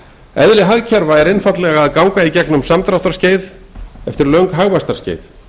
eðli hagkerfa er einfaldlega að ganga í gegnum samdráttarskeið eftir löng hagvaxtarskeið